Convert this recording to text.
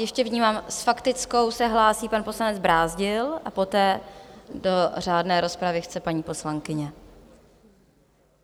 Ještě vnímám - s faktickou se hlásí pan poslanec Brázdil a poté do řádné rozpravy chce paní poslankyně.